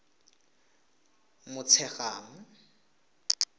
motshegang